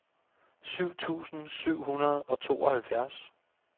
syv tusind syv hundrede og tooghalvfjerds